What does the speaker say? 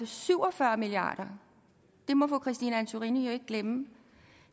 syv og fyrre milliard kroner det må fru christine antorini jo ikke glemme